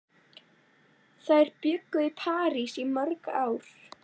Þær bjuggu í París í mörg ár.